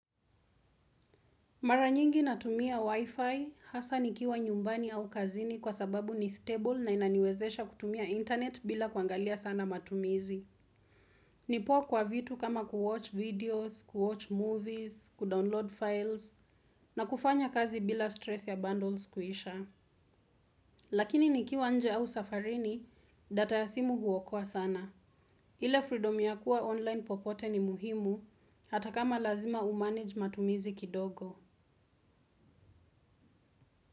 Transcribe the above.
Mara nyingi natumia wifi hasa nikiwa nyumbani au kazini kwa sababu ni stable na inaniwezesha kutumia internet bila kuangalia sana matumizi. Nipo kwa vitu kama kuwatch videos, kuwatch movies, kudownload files na kufanya kazi bila stress ya bundles kuisha. Lakini nikiwa nje au safarini data ya simu huokoa sana. Hile freedom ya kuwa online popote ni muhimu hata kama lazima umanage matumizi kidogo.